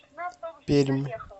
пермь